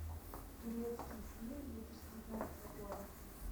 турецкий фильм две тысячи девятнадцатого года